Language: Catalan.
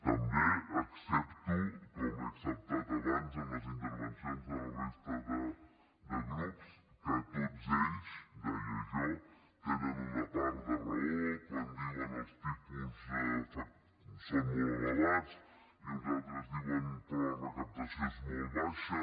també accepto com he acceptat abans en les intervencions de la resta de grups que tots ells deia jo tenen una part de raó quan diuen els tipus són molt elevats i uns altres diuen però la recaptació és molt baixa